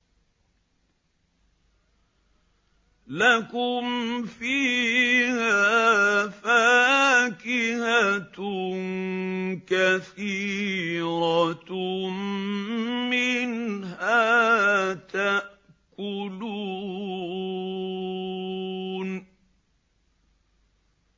لَكُمْ فِيهَا فَاكِهَةٌ كَثِيرَةٌ مِّنْهَا تَأْكُلُونَ